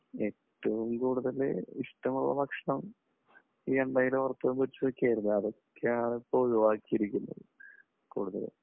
ഏറ്റവും കൂടുതൽ ഇഷ്ടമുള്ള ഭക്ഷണം ഈ എണ്ണയിൽ വറുത്തതും പൊരിച്ചതും ഒക്കെ ആയിരുന്നു. അതൊക്കെയാണ് ഇപ്പോൾ ഒഴിവാക്കിയിരിക്കുന്നത് കൂടുതലും.